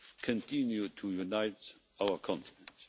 continue to unite our continent.